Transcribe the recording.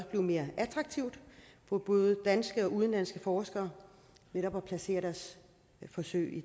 mere attraktivt for både danske og udenlandske forskere at placere deres forsøg i